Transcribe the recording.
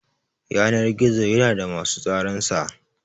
Yanar-gizo yana da musu tsaran sa.